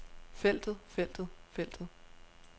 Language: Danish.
feltet feltet feltet